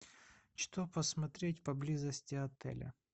что посмотреть поблизости отеля